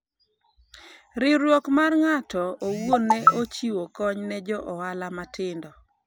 riwruok mar ng'ato owuon ne ochiwo kony ne jo ohala matindo